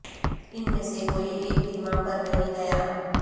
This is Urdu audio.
ان میں سے کوئی ایک بھی ماں پر نہیں گیا